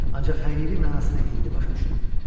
Ancaq həqiqi mənasını indi başa düşdüm.